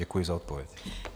Děkuji za odpověď.